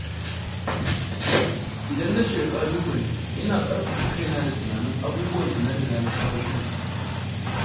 Idan na fuskanci ƙalubale, ina ƙarfafa kaina da tunanin abubuwan da na riga na shawo kansu.